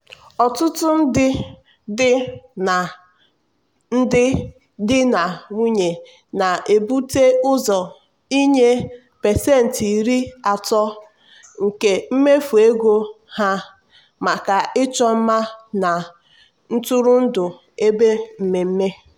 ọtụtụ ndị di na ndị di na nwunye na-ebute ụzọ inye pasentị iri atọ nke mmefu ego ha maka ịchọ mma na ntụrụndụ ebe mmemme.